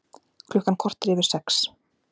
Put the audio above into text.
Klukkan korter yfir sex